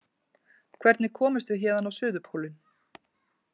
Hvernig komumst við héðan á Suðurpólinn?